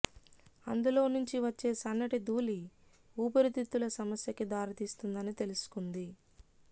అందులో నుంచి వచ్చే సన్నటి ధూళి వూపిరితిత్తుల సమస్యకి దారితీస్తుందని తెలుసుకుంది